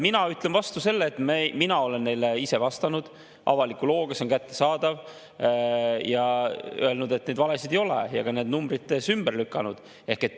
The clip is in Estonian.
Mina ütlen vastu selle, et mina olen neile ise vastanud avaliku looga, see on kättesaadav, ja öelnud, et neid valesid ei ole, ja need ka numbrites ümber lükanud.